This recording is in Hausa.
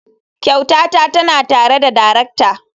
Kyautata tana tare da darakta.